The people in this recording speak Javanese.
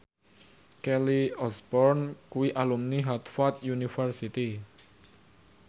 Kelly Osbourne kuwi alumni Harvard university